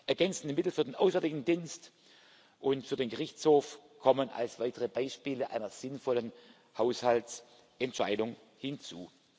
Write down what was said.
Ergänzende Mittel für den Auswärtigen Dienst und für den Gerichtshof kommen als weitere Beispiele einer sinnvollen Haushaltsentscheidung hinzu.